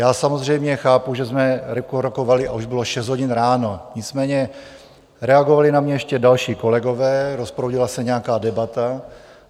Já samozřejmě chápu, že jsme rokovali a už bylo 6 hodin ráno, nicméně reagovali na mě ještě další kolegové, rozproudila se nějaká debata.